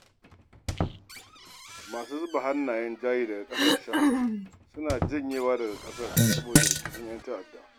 Masu zuba hannayen jari daga ƙasashen suna janyewa daga ƙasar saboda rikicin ƴan-ta'adda.